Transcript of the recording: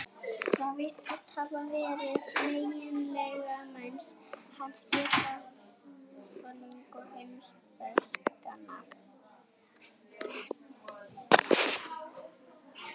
Það virðist hafa verið meginmarkmið hans, að geta ástundað heimspekina.